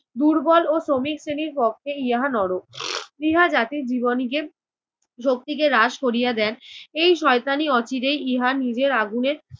দুর্বল ও শ্রমিক শ্রেণীর পক্ষে ইহা নরক। ইহা জাতির জীবনীকে শক্তিকে হ্রাস করিয়া দেন। এই শয়তানি অচিরেই ইহার নিজের আগুনে